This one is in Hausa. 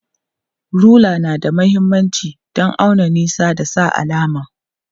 Rula na da mahimmanci don auna nisa da sa alama.